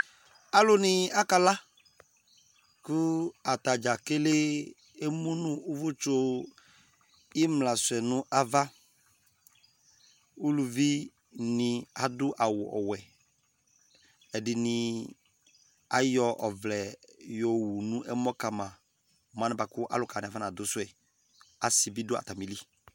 alò ni aka la kò atadza kele emu no uvò tsu imla suɛ no ava uluvi ni ado awu ɔwɛ ɛdini ayɔ ɔvlɛ yɔ owu no ɛmɔ kama mo anɛ kò ɔluka wani afɔna do suɛ asi bi do atami li